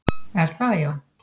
Er það já?